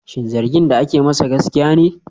Shin zargin da ake masa gaskiya ne?